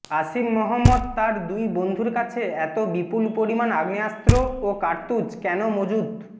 আসিফ মহম্মদ তার দুই বন্ধুর কাছে এত বিপুল পরিমাণ আগ্নেয়াস্ত্র ও কার্তুজ কেন মজুত